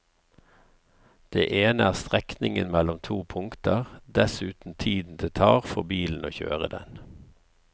Det ene er strekningen mellom to punkter, dessuten tiden det tar for bilen å kjøre den.